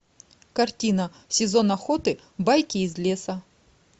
картина сезон охоты байки из леса